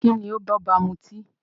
Kíni ó ń b'ọ́ba mutí?